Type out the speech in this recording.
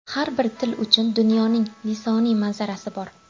Har bir til uchun dunyoning lisoniy manzarasi bor.